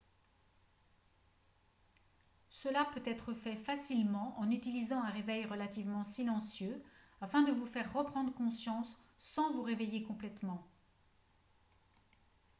cela peut être fait facilement en utilisant un réveil relativement silencieux afin de vous faire reprendre conscience sans vous réveiller complètement